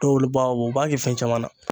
Dɔw olu b'a bɔ u b'a kɛ fɛn caman na.